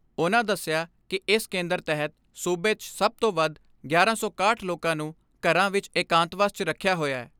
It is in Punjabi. ਉਨ੍ਹਾਂ ਦਸਿਆ ਕਿ ਇਸ ਕੇਂਦਰ ਤਹਿਤ ਸੂਬੇ 'ਚ ਸਭ ਤੋਂ ਵੱਧ ਗਿਆਰਾਂ ਸੌ ਇਕਾਹਠ ਲੋਕਾਂ ਨੂੰ ਘਰਾਂ ਵਿਚ ਏਕਾਂਤਵਾਸ 'ਚ ਰਖਿਆ ਹੋਇਐ।